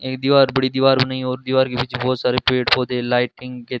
एक दीवार बड़ी दीवार बनाई और दीवार के पीछे बहुत सारे पेड़ पौधे लाइटिंग के--